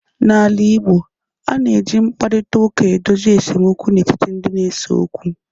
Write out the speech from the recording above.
N'ala Igbo, a na-eji mkparịta ụka edozi esemokwu n'etiti ndị na-ese okwu.